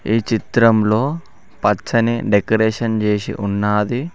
ఈ చిత్రంలో పచ్చని డెకరేషన్ చేసి ఉన్నాది.